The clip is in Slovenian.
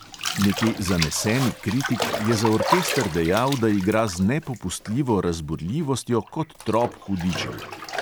Neki zaneseni kritik je za orkester dejal, da igra z nepopustljivo razburljivostjo kot trop hudičev.